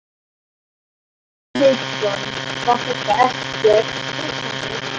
Hafsteinn Hauksson: Var þetta ekkert stressandi?